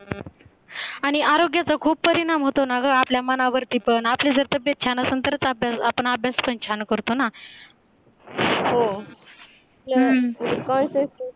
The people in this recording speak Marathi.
आणि आरोग्याचा खूप परिणाम होतो ना ग आपल्या मनावरती पण आपले जर तब्येत छान असेल तरच आपण अभ्यास पण छान करतो ना हो हम्म